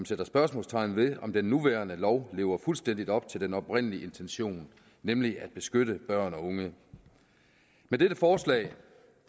sætter spørgsmålstegn ved om den nuværende lov lever fuldstændig op til den oprindelige intention nemlig at beskytte børn og unge med dette forslag